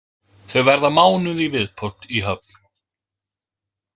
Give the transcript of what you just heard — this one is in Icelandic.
Þau verða mánuð í viðbót í Höfn.